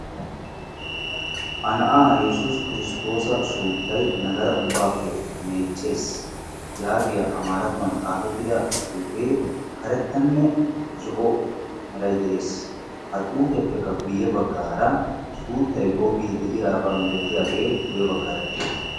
A na'a yessus Kristtoosa suuttay nagaea ubbappe meeccees yaagiya amarattuwan xaafetida xuufe karettanne zo'o meray de'ees. Ha xuupiappekka guyye baggaara suuttay googidi de'iyaaba milatiyaage guyye baggaara dees.